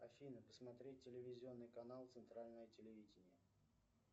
афина посмотреть телевизионный канал центральное телевидение